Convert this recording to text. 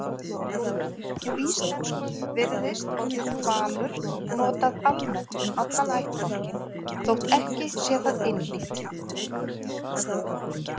Á íslensku virðist orðið hvalur notað almennt um allan ættbálkinn þótt ekki sé það einhlítt.